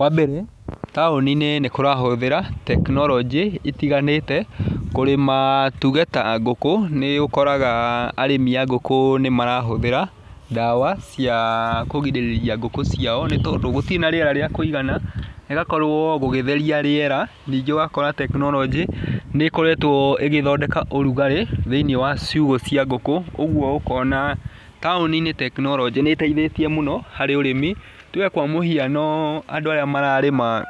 Wa mbeere, taũni-nĩ nĩ kũrahũthĩra tekinoronjĩ itiganĩte, kũrĩma tuge ta ngũkũ, nĩ ũkoraga arĩmi a ngũkũ nĩ marahũthĩra ndawa cia kũgirĩrĩria ngũkũ ciao nĩ tondũ gũtirĩ na rĩera rĩa kũigana, gũgakorwo gũgĩtheria rĩera, ningĩ ũgakora tekinoronjĩ, nĩ ĩkoretwo ĩgĩthondeka ũrugarĩ, thĩiniĩ wa ciugũ cia ngũkũ, ũguo ũkona taũni-inĩ tekinoronjĩ nĩ ĩteithĩtie mũno harĩ ũrĩmi. Tuge kwa mũhiano andũ arĩa mararĩma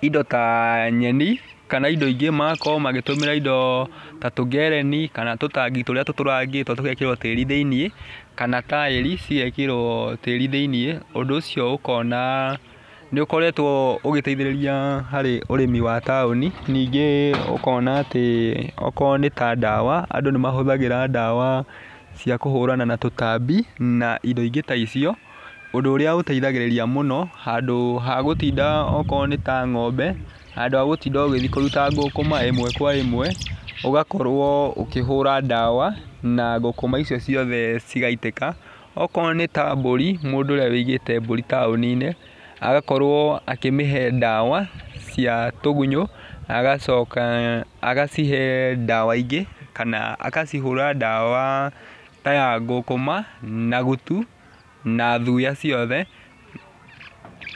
indo ta nyeni kana indo ingĩ, magakorwo magĩtũmĩra indo ta tũngereni, kana tũtangi tũrĩa tũtũrangitwo tũgekĩrwo tĩri thĩiniĩ, kana taĩri, cigekĩrwo tĩri thĩiniĩ, ũndũ ũcio ũkona, nĩ ũkoretwo ũgĩteithĩrĩria harĩ ũrĩmi wa taũni, nyingĩ ũkona akorwo nĩ ta ndawa andũ nĩmahũthagĩra ndawa cia kũhũrana na tũtambi na indo ingĩ ta icio. Ũndũ ũrĩa ũteithagĩrĩria mũno, handũ hagũtinda akorwo nĩta ng'ombe, handũ hagũtinda ũgĩthiĩ kũruta ngũkũma ĩmwe kwa ĩmwe, ũgakorwo ũkĩhũra ndawa na ngũkũma icio ciothe cigaitĩka. Akorwo nĩ ta mbũri, mũndũ ũrĩa ũigĩte mbũri taũni-inĩ, agakorwo agĩcihe ndawa cia tũgunyũ, agacoka agacihe ndawa ingĩ, kana agacihũra ndawa ta ya ngũkũma, na gutu na thuya ciothe.